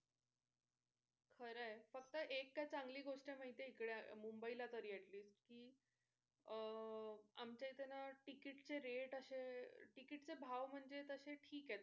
खरं आहे फक्त एक काय चांगली गोष्ट माहिते इकडे मुंबई ला तरी at least कि अह आमच्या इथे ना ticket चे rate असे ticket चे भाव म्हणजे तसे ठीक आहेत.